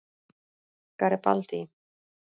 Garibaldi